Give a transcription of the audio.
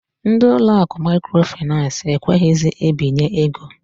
Ndị ụlọ akụ Maikro Finans ekweghizi ebinye ego.